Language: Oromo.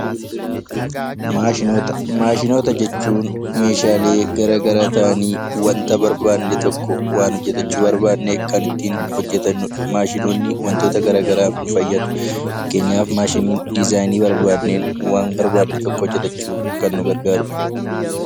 Maashinoota jechuun meeshaalee garaagaraa ta'anii wanta barbaanne tokko waan hojjatachuu barbaanne kan ittiin hojjatanudha. Maashinoonni wantoota garaagaraaf nu fayyadu. Fakkeenyaaf maashiniin diizaayinii barbaanneen waan barbaanne tokko hojjatachuuf kan nu gargaarudha.